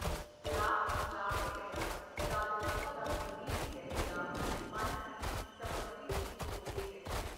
ਰਾਤ ਨੂੰ ਜਾਗਦੇ ਰਹਿਣਾ ਜਾਗਰੂਕਤਾਦਾ ਪ੍ਰਤੀਕ ਹੈ ਜਾਂ ਮਨ ਦੀ ਸਮੱਗਰੀ ਦੀ ਚੌਕਸੀ ਹੈ।